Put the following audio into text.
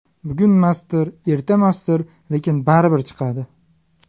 Bugunmasdir, ertamasdir, lekin baribir chiqadi.